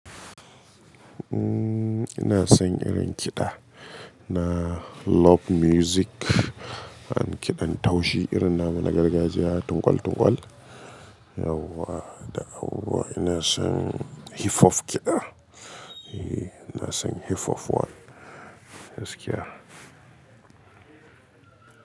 Umm, ina son irin kiɗa na love music, an kiɗan taushi irin nama na gargajiya, tunƙwal tunƙwal. Yauwa, da auwa ina son hifof kiɗa. Eh ina son hifof wa, gaskiya.